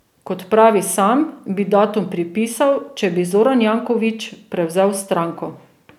Kot pravi sam, bi datum pripisal, če bi Zoran Janković prevzel stranko.